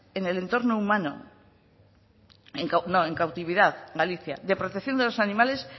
en el entorno humano en cautividad galicia de protección de los animales